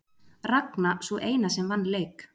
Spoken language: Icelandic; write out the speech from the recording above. Ragna sú eina sem vann leik